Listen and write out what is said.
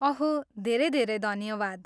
अहो, धेरै धेरै धन्यवाद।